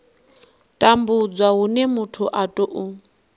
tambudzwa hune muthu a tou